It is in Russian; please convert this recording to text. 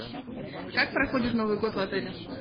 как проходит новый год в отеле